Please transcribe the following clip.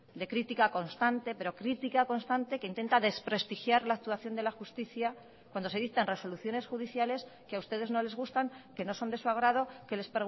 de crítica constante pero crítica constante que intenta desprestigiar la actuación de la justicia cuando se dictan resoluciones judiciales que a ustedes no les gustan que no son de su agrado que les